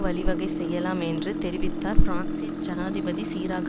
வழிவகை செய்யலாம் என்று தெரிவித்தார் பிரான்சின் ஜனாதிபதி சிராக்